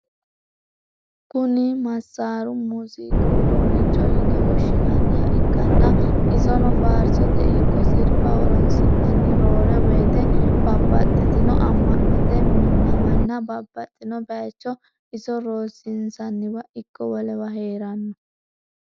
Kuni massaru muuziiqu udunnicho yine woshshinanniha ikkanna isono faarsote ikko sirbaho horonsi'nanni. roore woyite babaxitinno ama'note minnawanna babbaxino bayicho iso rosinsaniwa ikko wolewa heeranno.